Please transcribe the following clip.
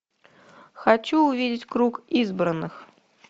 хочу увидеть круг избранных